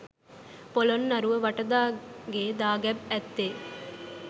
පොළොන්නරුව වටදාගේ දාගැබේ ඇත්තේ